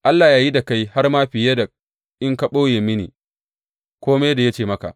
Allah ya yi da kai har ma fiye in ka ɓoye mini kome da ya ce maka.